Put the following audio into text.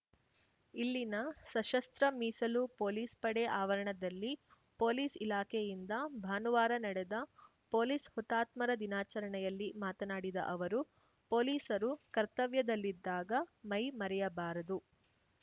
ಇಲ್ಲಿನ ಸಶಸ್ತ್ರ ಮೀಸಲು ಪೊಲೀಸ್‌ ಪಡೆ ಆವರಣದಲ್ಲಿ ಪೊಲೀಸ್‌ ಇಲಾಖೆಯಿಂದ ಭಾನುವಾರ ನಡೆದ ಪೊಲೀಸ್‌ ಹುತಾತ್ಮರ ದಿನಾಚರಣೆಯಲ್ಲಿ ಮಾತನಾಡಿದ ಅವರು ಪೊಲೀಸರು ಕರ್ತವ್ಯದಲ್ಲಿದ್ದಾಗ ಮೈ ಮರೆಯಬಾರದು